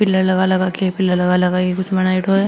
लगा लगा पिलर लगा लगा के कुछ बनाइडो है।